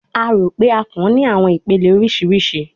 A ro pe akàn ni awọn ipele oriṣiriṣi